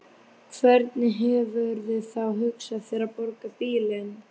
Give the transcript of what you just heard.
Hvernig hefurðu þá hugsað þér að borga bílinn?